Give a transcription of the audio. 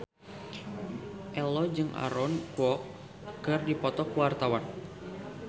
Ello jeung Aaron Kwok keur dipoto ku wartawan